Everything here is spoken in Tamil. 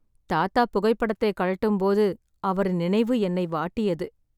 தாத்தா புகைப்படத்தை கழட்டும் போது அவரின் நினைவு என்னை வாட்டியது